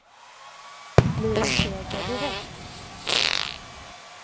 Blir det seger direkt?